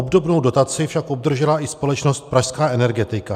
Obdobnou dotaci však obdržela i společnost Pražská energetika.